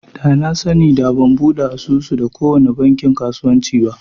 Da na sani da ban buɗe asusu da kowace bankin kasuwanci ba